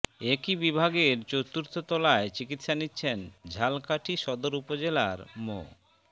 একই বিভাগের চতুর্থ তলায় চিকিৎসা নিচ্ছেন ঝালকাঠী সদর উপজেলার মো